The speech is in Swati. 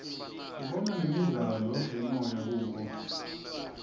sibona nemidlalo yemoya kubo